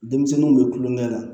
Denmisɛnninw bɛ kulonkɛ la